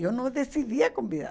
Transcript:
Eu não decidia convidar.